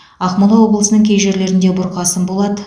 ақмола облысының кей жерлерінде бұрқасын болады